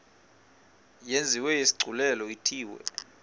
yenziwe isigculelo ithiwe